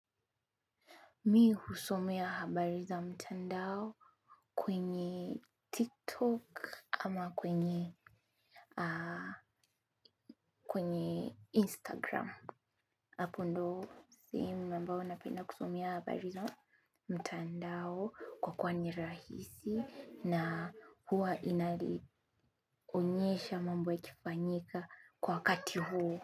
Mi husomea habari za mtandao kwenye tiktok ama kwenye instagram. Hapo ndo simi mambao napenda kusomea habari za mtandao kwa kuwa nirahisi na huwa inali onyesha mambo ya kifanyika kwa wakati huo.